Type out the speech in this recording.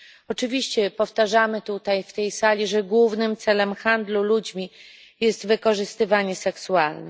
Oczywiście powtarzamy tutaj, w tej sali, że głównym celem handlu ludźmi jest wykorzystywanie seksualne.